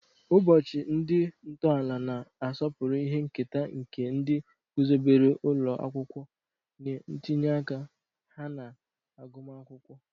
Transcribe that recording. Ụbọchị ndị ntọala na-asọpụrụ ihe nketa nke ndị guzobere ụlọ akwụkwọ na ntinye aka ha na agụmakwụkwọ.